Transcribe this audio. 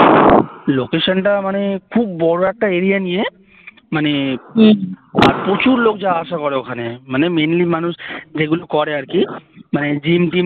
location টা মানে খুব বড় একটা area নিয়ে মানে প্রচুর লোক যাওয়া আসা করে ওখানে মানে mainly মানুষ যেগুলো করে আরকি মানে gym টিম